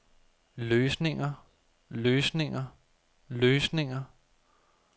løsninger løsninger løsninger